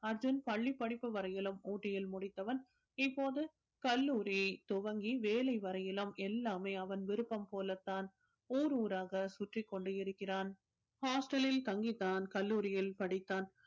அர்ஜுன் பள்ளி படிப்பு வரையிலும் ஊட்டியில் முடித்தவன் இப்போது கல்லூரி துவங்கி வேலை வரையிலும் எல்லாமே அவன் விருப்பம் போலத்தான் ஊர் ஊராக சுற்றிக் கொண்டு இருக்கிறான் hostel லில் தங்கித் தான் கல்லூரியில் படித்தான்